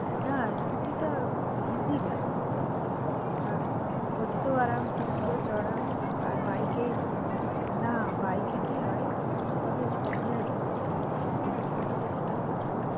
না scooty টা খুব easy হয় আর বসতেও আরাম seat গুলোও চওড়া আর bike এ না bike এ কি হয় দু দিন পরে spondylitis হয়ে যাই কিন্তু scooty তে সেই টা হয় না।